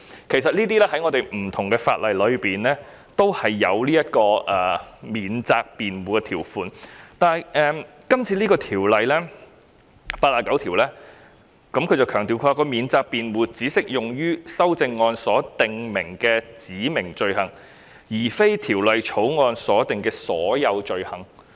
其實在香港多項法例中也有免責辯護條款，但《條例草案》第89條強調免責辯護只適用於修正案所訂明的罪行，而非《條例草案》所訂的所有罪行。